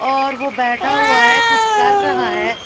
और वो बैठा हुआ है कुछ कर रहा है।